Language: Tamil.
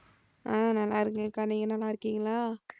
அஹ் நல்லா இருக்கேன் அக்கா நீங்க நல்லா இருக்கீங்களா